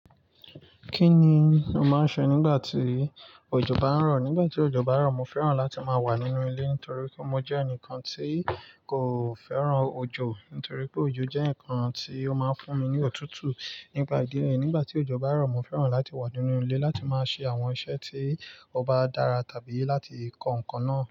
Kí ni o máa ń ṣe nígbà tí òjò bá ń rọ̀? Nígbà tí òjò bá ń rọ̀, mo fẹ́ràn láti máa wà nínú ilé torí pé mo jẹ́ ẹnìkan tí kò fẹ́ràn òjò. Nítorí pé òjò jẹ́ ǹnkan tí ó máa ń fún mi ní òtútù nígbà ìdílé. Nígbà tí òjò bá rọ̀, mo fẹ́ràn láti wà nínú ilé láti máa ṣe àwọn iṣẹ́ tí ó bá dára tàbí láti kọ nǹkan náà.